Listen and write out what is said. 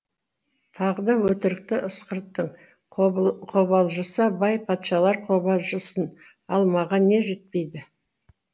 тағы да өтірікті ысқырттың қобалжыса бай патшалар қобалжысын ал маған не жетпейді